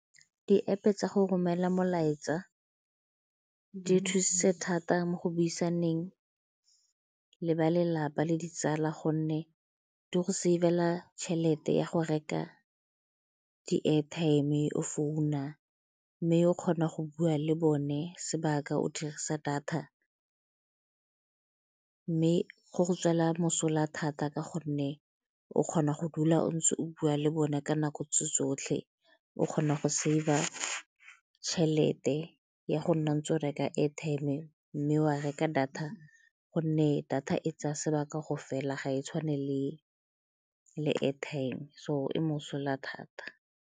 Di-App-e tsa go romela molaetsa di thusitse thata mo go buisaneng le ba lelapa le ditsala gonne di go save-ela tšhelete ya go reka di-airtime le go founa mme o kgona go bua le bone sebaka o dirisa data. Mme go go tswela mosola thata ka gonne o kgona go dula o ntse o bua le bone ka nako tse tsotlhe o kgona go save-a tšhelete ya go nna ntse o reka airtime mme wa reka data gonne data e tsaya sebaka go fela ga e tshwane le airtime so e mosola thata.